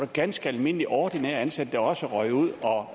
ganske almindelige ordinært ansatte også røg ud og